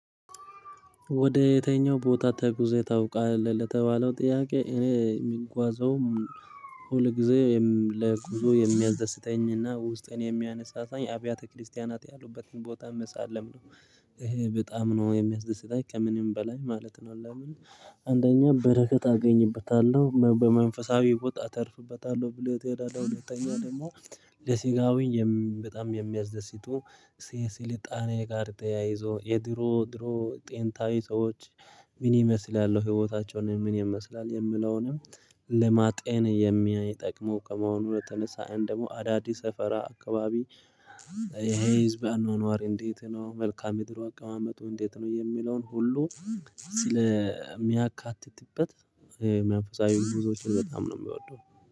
ወደ የትኛው ቦታ ተጉዘህ ታውቃለህ ለተባለው ጥያቄ? እኔ የሚጓዘውም ሁል ጊዜ ለኩዞ የሚያስደስተኝና ውስጥን የሚያነሳሳኝ አብያተ ክርስቲያናት ያሉበትን ቦታ መሳለም ነው ይሄ በጣም ነው የሚያስደስት ላይ ከምንም በላይ ማለት ነው። ለምን አንደኛ በረከት አገኝበታለሁ በመንፈሳዊ ብወጣ አተርፍበታለሁ ብሎ ትሄዳለህ። ሁለተኛ ደግሞ ለሲጋዊ በጣም የሚያዘስቱ ስልጣኔ ጋር ጠያይዞ የድሮ ድሮ ጤንታዊ ሰዎች ምን ይመስላል ያለው ህይወታቸውን ምን ይመስላል የምለውንም? ልማጤን የሚያይ ጠቅሞ ከመሆኑ ወደ ተነሳ አንድ ደግሞ አዳዲስ ሰፈራ አካባቢ። ይሄ ህዝብ አኗኗር እንዴት ነው መልካም እድሉ አቀማመጡ እንዴት ነው? የሚለውን ሁሉ ስለሚያካትትበት መንፈሳዊ ጉዞዎችን በጣም ነው የሚወደው